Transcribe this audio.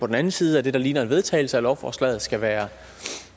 på den anden side af det der ligner en vedtagelse af lovforslaget skal være